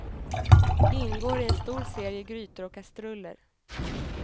Ingår i en stor serie grytor och kastruller.